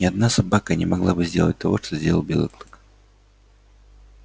ни одна собака не могла бы сделать того что сделал белый клык